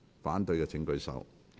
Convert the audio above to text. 反對的請舉手。